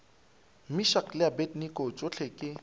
meshack le abednego tšohle ke